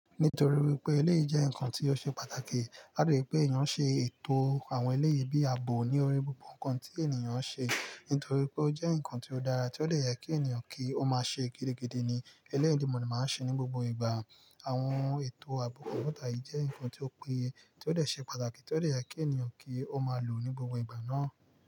Nítorí wípé eléyi jẹ́ ǹkan tí ó ṣe pàtàkì, a de je pé èèyàn ṣe ètò àwọn eleyi bí i ààbò ní orí gbogbo ǹkan tí èèyàn ń ṣe, nítorí pé ó jẹ́ ǹkan tí ó dára, tí ó dè yẹ kí èniyàn kí ó máa ṣe gidigidi ni. Eleyi ni mo de máa ń ṣe ní gbogbo ìgbà. Àwọn ètò àbọ̀ kọ̀kọ̀ tàbí jẹ́ ǹkan tí ó péye tí ó dè ṣe pàtàkì tí ó dè yẹ kí èniyàn kí ó máa lò ní gbogbo ìgbà náà.